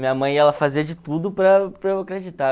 Minha mãe, ela fazia de tudo para para eu acreditar.